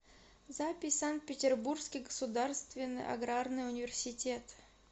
запись санкт петербургский государственный аграрный университет